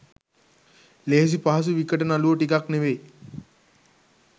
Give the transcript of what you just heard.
ලේසි පහසු විකට නළුවො ටිකක් නෙවෙයි.